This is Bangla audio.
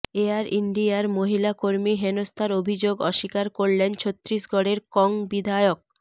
এয়ার ইন্ডিয়ার মহিলা কর্মী হেনস্থার অভিযোগ অস্বীকার করলেন ছত্তিশগড়ের কং বিধায়ক